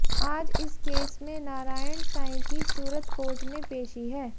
आज इस केस में नारायण साईं की सूरत कोर्ट में पेशी है